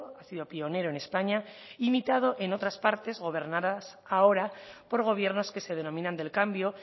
ha sido pionero en españa imitado en otras partes gobernadas ahora por gobiernos que se denominan del cambio